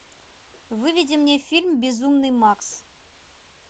выведи мне фильм безумный макс